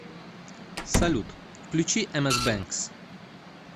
салют включи эмэс бэнкс